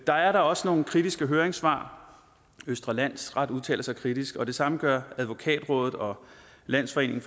der er da også nogle kritiske høringssvar østre landsret udtaler sig kritisk og det samme gør advokatrådet og landsforeningen